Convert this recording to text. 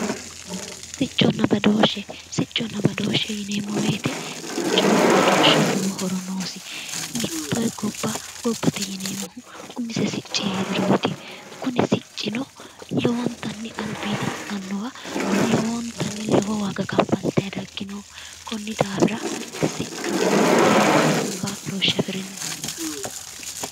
Sicconna badooshshe, sicconna badooshshe yineemmo woyte siccohonna badooshsheho lowo horo noosi, mite gobba gobbate yineemmohu umise sicci heeriroti kuni siccino lowontanni albiidi annuwa lowontanni lowo waaga kafaltanni daggino konni daafira siccu lowo kaa'loshe afirino